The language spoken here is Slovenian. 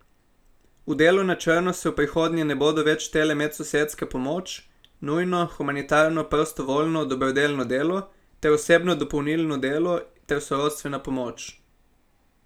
V delo na črno se v prihodnje ne bodo več štele medsosedska pomoč, nujno, humanitarno, prostovoljno, dobrodelno delo ter osebno dopolnilno dela ter sorodstvena pomoč.